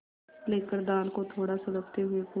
लेकर दाल को थोड़ा सुड़कते हुए पूछा